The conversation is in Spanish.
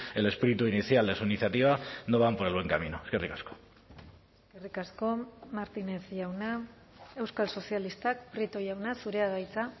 el espíritu inicial de su iniciativa no van por el buen camino eskerrik asko eskerrik asko martínez jauna euskal sozialistak prieto jauna zurea da hitza